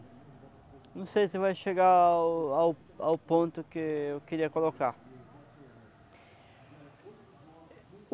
Não sei se vai chegar ao ao ao ponto que eu queria colocar.